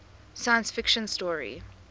science fiction story